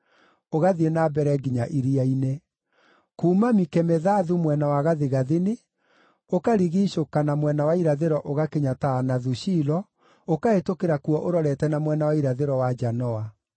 ũgathiĩ na mbere nginya iria-inĩ. Kuuma Mikemethathu mwena wa gathigathini, ũkarigiicũka na mwena wa irathĩro ũgakinya Taanathu-Shilo, ũkahĩtũkĩra kuo ũrorete na mwena wa irathĩro wa Janoa.